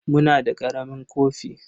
Muna da ƙaramin kofi.